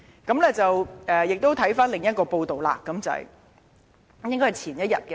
"我們再看看另一篇報道，應該是前一天的......